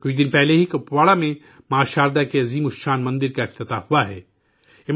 کچھ دن پہلے ہی کپواڑہ میں ماں شاردا کے عالیشان مندر کا افتتاح ہوا ہے